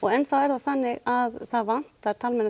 enn þá er hún þannig að það vantar